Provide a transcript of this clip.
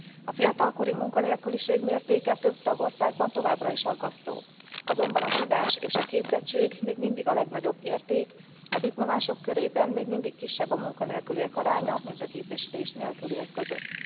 A fiatalkori munkanélküliség mértéke több tagországban továbbra is aggasztó, azonban a tudás és a képzettség még mindig a legnagyobb érték, a diplomások körében még mindig kisebb a munkanélküliek aránya, mint a képesítés nélküliek között.